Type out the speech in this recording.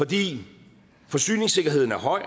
fordi forsyningssikkerheden er høj